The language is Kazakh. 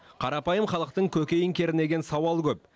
қарапайым халықтың көкейін кернеген сауал көп